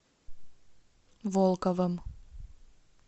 волковым